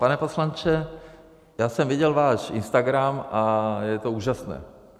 Pane poslanče, já jsem viděl váš Instagram a je to úžasné.